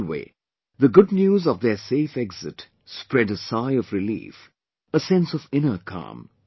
Anyway, the good news of their safe exit spread a sigh of relief, a sense of inner calm